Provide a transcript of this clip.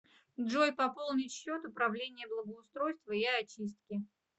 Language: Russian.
джой пополнить счет управление благоустройства и очистки